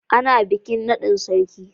Ana bikin naɗin sarki.